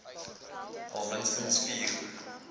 al minstens vier